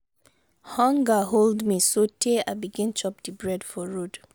hunger hold me sotee i begin chop di bread for road.